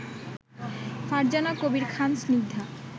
Farzana Kabir Khan Snigdha